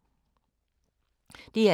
DR2